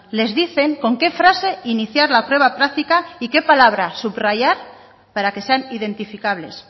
les dicen con qué frase iniciar la prueba práctica y que palabra subrayar para que sean identificables